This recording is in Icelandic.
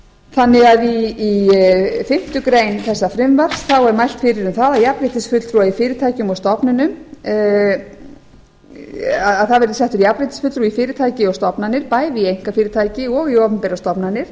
þannig að í fyrstu grein þessa frumvarps er mælt fyrir um það að jafnréttisfulltrúa í fyrirtækjum og stofnunum það verði settur jafnréttisfulltrúi í fyrirtæki og stofnanir bæði í einkafyrirtæki og í opinberar stofnanir